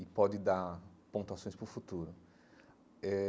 e pode dar pontuações para o futuro eh.